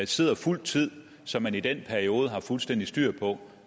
sidder fuld tid så man i den periode har fuldstændig styr på